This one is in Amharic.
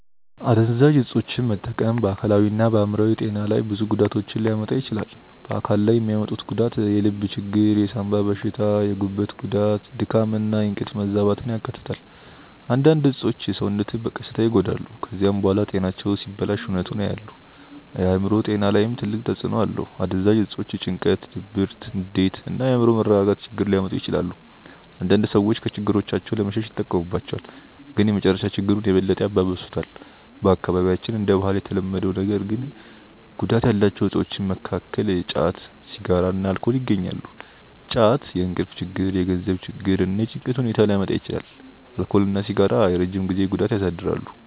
አደንዛዥ እፆችን መጠቀም በአካላዊና በአእምሮአዊ ጤና ላይ ብዙ ጉዳቶችን ሊያመጣ ይችላል። በአካል ላይ የሚያመጡት ጉዳት የልብ ችግር፣ የሳንባ በሽታ፣ የጉበት ጉዳት፣ ድካም እና የእንቅልፍ መዛባትን ያካትታል። አንዳንድ እፆች ሰውነትን በቀስታ ይጎዳሉ። ከዚያ በኋላ ጤናቸው ሲበላሽ እውነቱን ያያሉ። በአእምሮ ጤና ላይም ትልቅ ተጽእኖ አለው። አደንዛዥ እፆች ጭንቀት፣ ድብርት፣ ንዴት እና የአእምሮ መረጋጋት ችግር ሊያመጡ ይችላሉ። አንዳንድ ሰዎች ከችግሮቻቸው ለመሸሽ ይጠቀሙባቸዋል፣ ግን በመጨረሻ ችግሩን የበለጠ ያባብሱታል። በአካባቢያችን እንደ ባህል የተለመዱ ነገር ግን ጉዳት ያላቸው እፆች መካከል ጫት፣ ሲጋራ እና አልኮል ይገኛሉ። ጫት የእንቅልፍ ችግር፣ የገንዘብ ችግር እና የጭንቀት ሁኔታ ሊያመጣ ይችላል። አልኮል እና ሲጋራ የረጅም ጊዜ ጉዳት ያሳድራሉ።